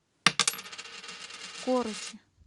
корочи